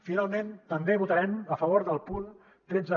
finalment també votarem a favor del punt tretze